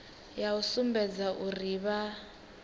ya u sumbedza uri vha